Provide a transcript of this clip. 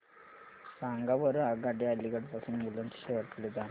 सांगा बरं आगगाड्या अलिगढ पासून बुलंदशहर कडे जाणाऱ्या